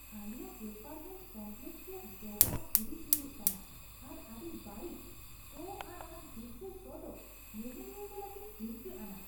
ᱟᱞᱮᱭᱟᱜ apartment complex ᱨᱮᱭᱟᱜ ᱡᱚᱵᱽᱨᱟ ᱦᱤᱨᱤᱡ ᱧᱩᱨᱩᱜ ᱠᱟᱱᱟ ᱟᱨ ᱟᱹᱰᱤ ᱵᱟᱹᱲᱤᱡ ᱥᱚ ᱟᱨ ᱚᱱᱟ ᱦᱤᱨᱠᱟᱹ ᱥᱚ ᱫᱚ ᱧᱮᱧᱮᱞᱤᱭᱟᱹ ᱠᱚ ᱞᱟᱹᱜᱤᱫ ᱦᱤᱨᱠᱟᱹ ᱟᱱᱟᱜ ᱾